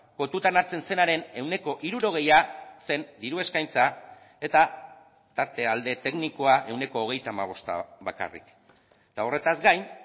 kontutan hartzen zenaren ehuneko hirurogeia zen diru eskaintza eta tarte alde teknikoa ehuneko hogeita hamabosta bakarrik eta horretaz gain